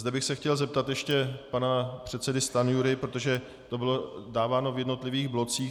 Zde bych se chtěl zeptat ještě pana předsedy Stanjury, protože to bylo dáváno v jednotlivých blocích.